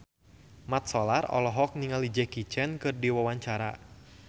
Mat Solar olohok ningali Jackie Chan keur diwawancara